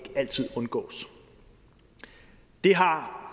altid undgås det har